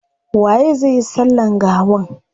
Waye zai yi sallan gawan?